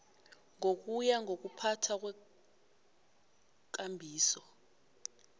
ngokuya ngokuphathwa kweekambiso